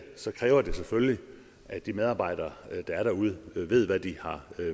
så kræver det selvfølgelig at de medarbejdere der er derude ved hvad de har